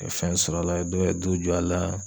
O ye fɛn sɔrɔ a la dɔw ye du jɔ a la.